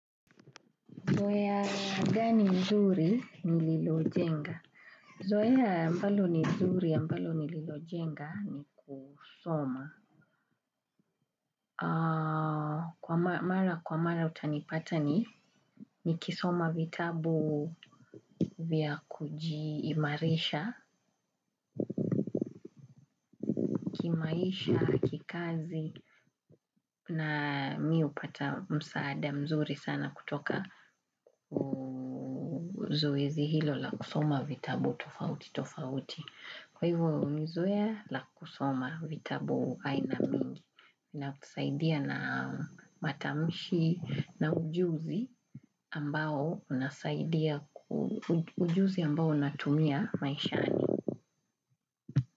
Zoea gani nzuri nililojenga? Zoea ambalo ni nzuri, ambalo nililojenga ni kusoma. Kwa mara, kwa mara utanipata ni, nikisoma vitabu vya kujiimarisha, kimaisha, kikazi, na mi hupata msaada mzuri sana kutoka zoezi hilo la kusoma vitabu tofauti tofauti. Kwa hivyo ni zoea la kusoma vitabu aina mingi na kusaidia na matamishi na ujuzi ambao natumia maishani.